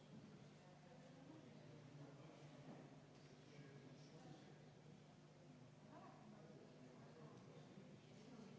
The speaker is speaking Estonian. See ettepanek ei kuulu hääletamisele vastavalt kodukorraseadusele.